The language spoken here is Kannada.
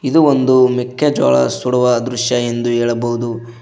ಇದು ಒಂದು ಮೆಕ್ಕೆಜೋಳ ಸುಡುವ ದೃಶ್ಯ ಎಂದು ಹೇಳಬಹುದು.